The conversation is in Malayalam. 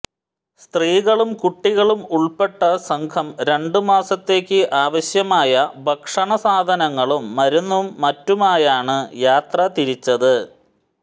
സ്ത്രീകളും കുട്ടികളും ഉൾപ്പെട്ട സംഘം രണ്ട് മാസത്തേക്ക് ആവശ്യമായ ഭക്ഷണസാധനങ്ങളും മരുന്നും മറ്റുമായാണ് യാത്ര തിരിച്ചത്